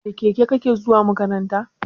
Da keke kake zuwa makaranta?